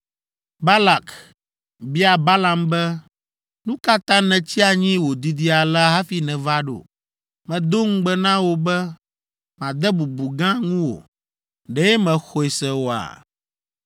Balak bia Balaam be, “Nu ka ta nètsi anyi wòdidi alea hafi nèva ɖo? Medo ŋugbe na wò be made bubu gã ŋuwò. Ɖe mèxɔe se oa?”